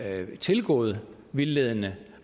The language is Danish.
er tilgået vildledende